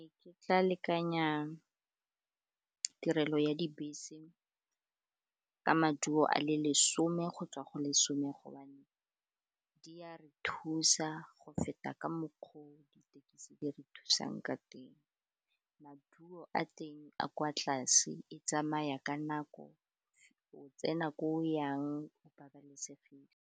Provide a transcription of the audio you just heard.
Ee, ke tla lekanya tirelo ya dibese ka maduo a le lesome gotswa go lesome gobane di a re thusa go feta ka mokgwa o ditekisi di re thusang ka teng. Maduo a teng a kwa tlase, e tsamaya ka nako, o tsena ko o yang o babalesegile.